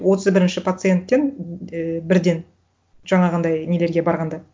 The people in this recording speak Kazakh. отыз бірінші пациенттен і бірден жаңағындай нелерге барғанда